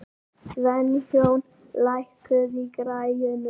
Sveinjón, lækkaðu í græjunum.